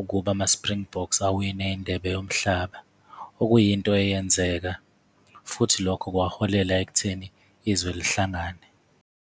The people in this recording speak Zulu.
ukuba ama-Springboks awine indebe yomhlaba, okuyinto eyenzeka futhi lokho kwaholela ekutheni izwe lihlangane.